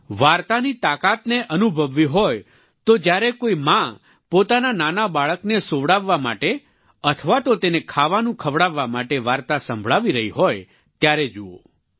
વાર્તાની તાકાતને અનુભવવી હોય તો જ્યારે કોઈ માં પોતાના નાના બાળકને સૂવડાવવા માટે અથવા તો તેને ખાવાનું ખવડાવવા માટે વાર્તા સંભળાવી રહી હોય ત્યારે જુઓ